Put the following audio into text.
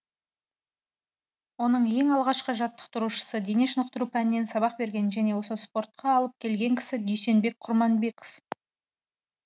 оның ең алғашқы жаттықтырушысы дене шынықтыру пәнінен сабақ берген және осы спортқа алып келген кісі дүйсенбек құрманбеков